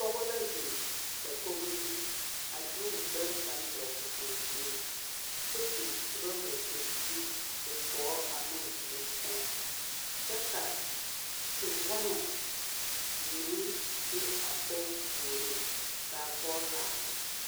Pɔgɔ la zeng dakogo zu a de ɔ gbere kang dɔgli kanga zung kye bin ruba pebilii ɔ gɔɔ ane ɔ duri sen kye ka te womo meng be a poɔ poɔring kaa poɔ laara.